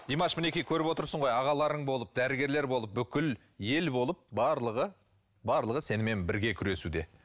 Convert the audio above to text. димаш мінекей көріп отырсың ғой ағаларың болып дәрігерлер болып бүкіл ел болып барлығы барлығы сенімен бірге күресуде